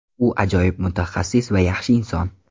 U ajoyib mutaxassis va yaxshi inson!